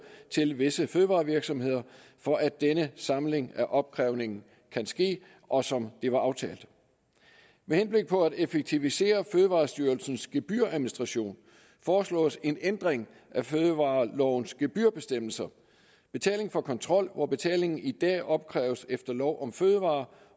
til visse fødevarevirksomheder for at denne samling af opkrævningen kan ske og som det var aftalt med henblik på at effektivisere fødevarestyrelsens gebyradministration foreslås en ændring af fødevarelovens gebyrbestemmelser betaling for kontrol hvor betalingen i dag opkræves efter lov om fødevarer